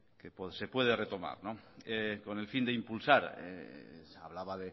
que se puede retomar con el fin de impulsar hablaba